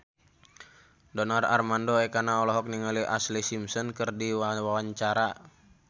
Donar Armando Ekana olohok ningali Ashlee Simpson keur diwawancara